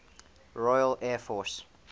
royal air force